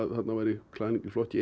þarna væri klæðning í flokki